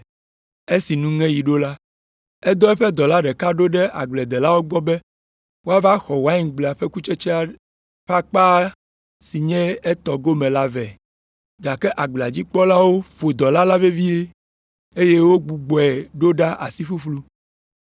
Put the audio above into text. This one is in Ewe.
Esi nuŋeɣi ɖo la, edɔ eƒe dɔla ɖeka ɖo ɖe agbledelawo gbɔ be wòava xɔ waingble la ƒe kutsetsea ƒe akpa si nye etɔ gome la vɛ. Gake agblea dzi kpɔlawo ƒo dɔla la vevie, eye wogbugbɔe ɖo ɖa asi ƒuƒlu.